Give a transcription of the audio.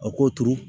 A k'o turu